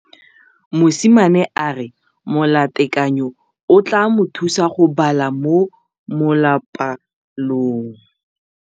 Mosimane a re molatekanyô o tla mo thusa go bala mo molapalong.